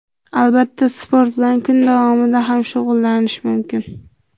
Albatta, sport bilan kun davomida ham shug‘ullanish mumkin.